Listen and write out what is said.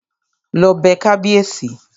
Lọ bẹ kábíèsí!